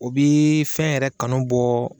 O bɛ fɛn yɛrɛ kanu bɔ